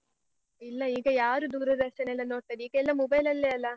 ಇಲ್ಲ ಈಗ ಯಾರು ದೂರದರ್ಶನ ಎಲ್ಲ ನೋಡ್ತಾರೆ. ಈಗ ಎಲ್ಲ mobile ಅಲ್ಲೆ ಅಲ್ಲಾ.